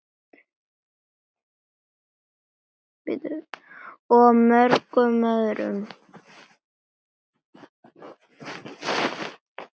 Þar hefur liðið leikið síðan.